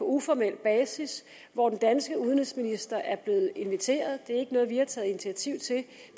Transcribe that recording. uformel basis hvor den danske udenrigsminister er blevet inviteret det er ikke noget vi har taget initiativ til det